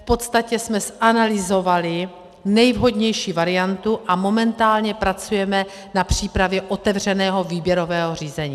V podstatě jsme zanalyzovali nejvhodnější variantu a momentálně pracujeme na přípravě otevřeného výběrového řízení.